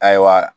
Ayiwa